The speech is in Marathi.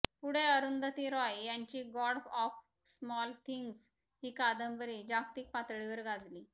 पुढे अरुंधती रॉय यांची गॉड ऑफ स्मॉल थिंग्ज ही कादंबरी जागतिक पातळीवर गाजली